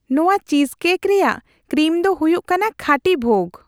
ᱱᱚᱣᱟ ᱪᱤᱡᱽᱠᱮᱠ ᱨᱮᱭᱟᱜ ᱠᱨᱤᱢ ᱫᱚ ᱦᱩᱭᱩᱜ ᱠᱟᱱᱟ ᱠᱷᱟᱹᱴᱤ ᱵᱷᱳᱜᱽ ᱾